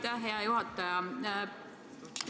Aitäh, hea juhataja!